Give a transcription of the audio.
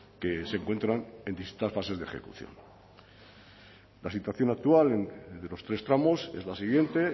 que se encuentran en distintas fases de ejecución la situación actual de los tres tramos es la siguiente